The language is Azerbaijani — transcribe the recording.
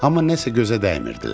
Amma nəsə gözə dəymirdilər.